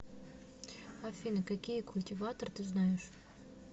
афина какие культиватор ты знаешь